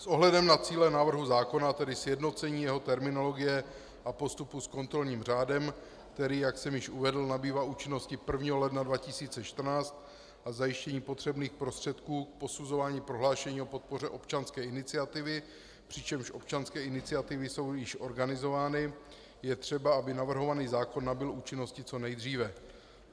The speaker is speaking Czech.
S ohledem na cíle návrhu zákona, tedy sjednocení jeho terminologie a postupu s kontrolním řádem, který, jak jsem již uvedl, nabývá účinnosti 1. ledna 2014, a zajištění potřebných prostředků k posuzování prohlášení o podpoře občanské iniciativy, přičemž občanské iniciativy jsou již organizovány, je třeba, aby navrhovaný zákon nabyl účinnosti co nejdříve.